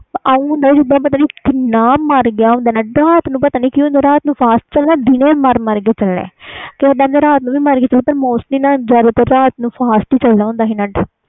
ਏਵੇ ਹੁੰਦਾ ਸੀ ਜੀਦਾ ਪਤਾ ਨਹੀਂ ਕਿੰਨਾ ਮਰ ਗਿਆ ਹੁੰਦਾ net ਰਾਤ ਨੂੰ fast ਚਲਣਾ ਪਤਾ ਨਹੀਂ ਕਿ ਹੁੰਦਾ ਸੀ ਦਿਨੇ ਮਰ ਮਰ ਕੇ ਚਲਣਾ ਓਹਦਾ ਰਾਤ ਨੂੰ ਮਰ ਕੇ ਚਲਣਾ but mostly fast ਚਲਦਾ ਹੁੰਦਾ